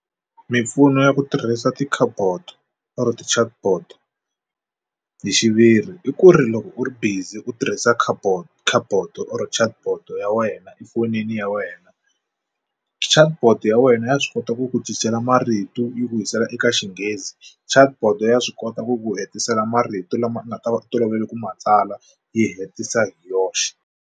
Mimpfuno ya ku tirhisa cardboard or ti-chatbot hi xiviri i ku ri loko u ri busy u tirhisa cardboard chartdboard chatbot ya wena efonini ya wena chartboard ya wena ya swi kota ku ku cincela marito yi ku yisela eka xinghezi chartboard ya swi kota ku ku hetisela marito lama nga ta va u tolovele ku matsala yi hetisa yoxe.